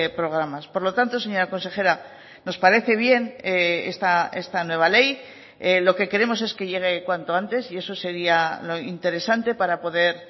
programas por lo tanto señora consejera nos parece bien esta nueva ley lo que queremos es que llegue cuanto antes y eso sería lo interesante para poder